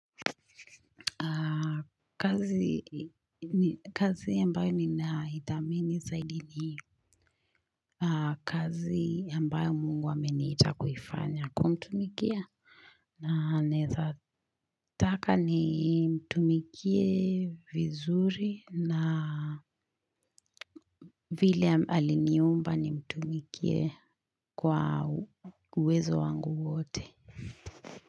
Kazi ambayo ninaitamani zaidi ni kazi ambayo Mungu ameniita kuifanya kumtumikia na naweza. Nataka nimtumikie vizuri na vile aliniumba, nimtumikie kwa uwezo wangu wote.